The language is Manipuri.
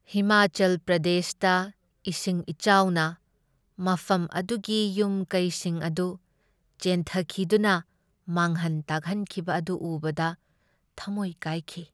ꯍꯤꯃꯥꯆꯜ ꯄ꯭ꯔꯗꯦꯁꯇ ꯏꯁꯤꯡ ꯏꯆꯥꯎꯅ ꯃꯐꯝ ꯑꯗꯨꯒꯤ ꯌꯨꯝ ꯀꯩꯁꯤꯡ ꯑꯗꯨ ꯆꯦꯟꯊꯈꯤꯗꯨꯅ ꯃꯥꯡꯍꯟ ꯇꯥꯛꯍꯟꯈꯤꯕ ꯑꯗꯨ ꯎꯕꯗ ꯊꯝꯃꯣꯏ ꯀꯥꯏꯈꯤ ꯫